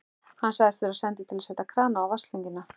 Hann sagðist vera sendur til að setja krana á vatnslögnina.